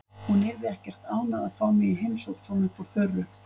Hún yrði ekkert ánægð að fá mig í heimsókn svona upp úr þurru.